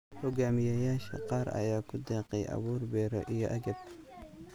Hogaamiyayaasha qaar ayaa ku deeqay abuur beero iyo agab.